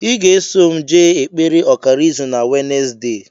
I ga-eso m jee ekpere ọkara izu na wenezdee